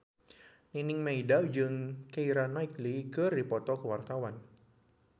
Nining Meida jeung Keira Knightley keur dipoto ku wartawan